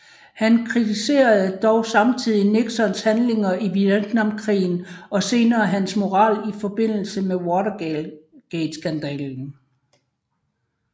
Han kritiserede dog samtidig Nixons handlinger i Vietnamkrigen og senere hans moral i forbindelse med Watergateskandalen